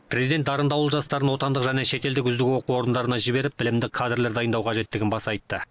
президент дарынды ауыл жастарын отандық және шетелдік үздік оқу орындарына жіберіп білімді кадрлер дайындау қажеттігін баса айтты